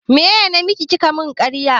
Me namaki kike mun ƙarya?